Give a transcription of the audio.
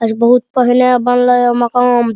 आज बहुत पहने बनलय मकाम।